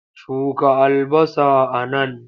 Shuka albasa a nan!